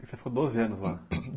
Você ficou doze anos lá?